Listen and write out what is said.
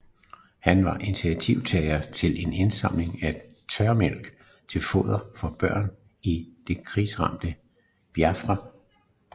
Han var initiativtager til en indsamling af tørmælk til fordel for børn i det krigshærgede Biafra